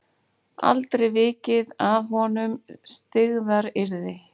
Aldrei vikið að honum styggðaryrði.